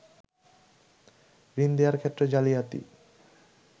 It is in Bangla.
ঋণ দেয়ার ক্ষেত্রে জালিয়াতি